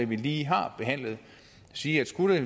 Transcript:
vi lige har behandlet sige at skulle det